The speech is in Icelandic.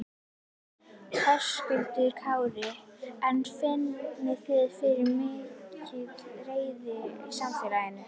Höskuldur Kári: En finnið þið fyrir mikilli reiði í samfélaginu?